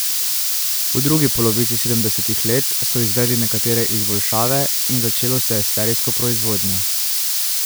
V drugi polovici sedemdesetih let so izvedli nekatere izboljšave in začelo se je s serijsko proizvodnjo.